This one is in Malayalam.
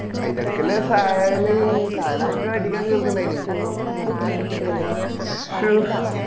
ആയിന്ടെ എടക്കല്ലേ സഹല് സഹാലോ മറ്റോ അടിക്കാൻ നോക്കുന്നുണ്ടായേനെ മറ്റേ ശോ